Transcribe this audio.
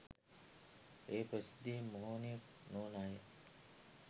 ඒ ප්‍රසිද්ධියේ මෝහනය නොවන අය